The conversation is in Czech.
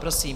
Prosím.